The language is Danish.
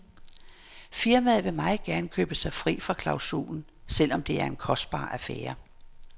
Firmaet vil meget gerne købe sig fri fra klausulen, selvom det er en kostbar affære.